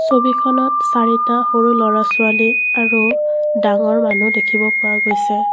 ছবিখনত চাৰিটা সৰু ল'ৰা ছোৱালী আৰু ডাঙৰ মানু্হ দেখিব পোৱা গৈছে।